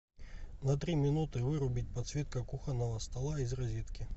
на три минуты вырубить подсветка кухонного стола из розетки